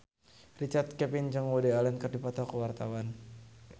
Richard Kevin jeung Woody Allen keur dipoto ku wartawan